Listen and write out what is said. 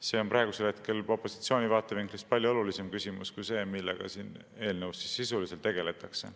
See on praegusel hetkel opositsiooni vaatevinklist palju olulisem küsimus kui see, millega siin eelnõus sisuliselt tegeldakse.